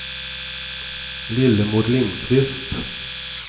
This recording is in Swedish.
Lillemor Lindqvist